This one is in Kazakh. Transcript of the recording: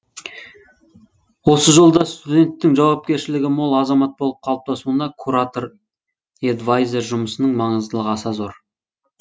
осы жолда студенттің жауапкершілігі мол азамат болып қалыптасуына куратор эдвайзер жұмысының маңыздылығы аса зор